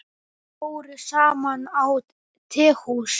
Þeir fóru saman á tehús.